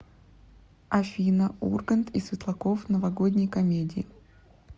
афина ургант и светлаков в новогодней комедии